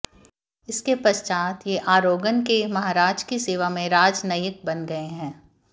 इसके पश्चात ये आरागोन के महाराज की सेवा में राजनयिक बन गए